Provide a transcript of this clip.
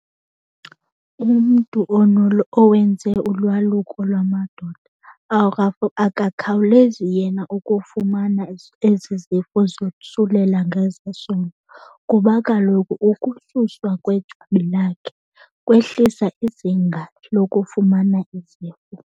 Umntu owenze ulwaluko lwamadoda akukhawulezi yena ukufumana ezi zifo zosulela ngezesondo, kuba kaloku ukususwa kwejwabi lakhe kwehlisa izinga lokufumana izifo.